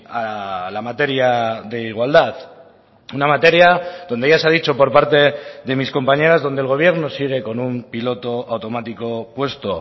a la materia de igualdad una materia donde ya se ha dicho por parte de mis compañeras donde el gobierno sigue con un piloto automático puesto